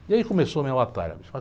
E aí começou a minha batalha.